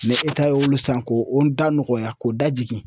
ye olu san ko o da nɔgɔya k'o da jigin.